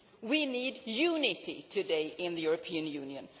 We need unity today in the European Union.